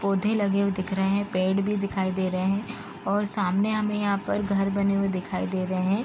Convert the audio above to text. पौधे लगे हुए दिख रहे हैं। पेड़ भी दिखाई दे रहे हैं और सामने हमे यहाँ पर घर बने हुए दिखाई दे रहे हैं।